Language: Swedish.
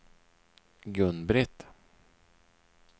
Gun-Britt